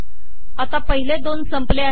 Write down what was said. आता पहिले दोन संपले आहेत